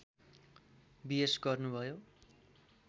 BS गर्नुभयो